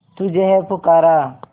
तुझे है पुकारा